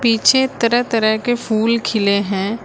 पीछे तरह तरह के फूल खिले हैं।